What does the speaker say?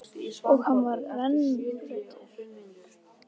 Og hann var rennblautur.